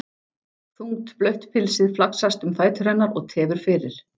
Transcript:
Þungt blautt pilsið flaksast um fætur hennar og tefur fyrir.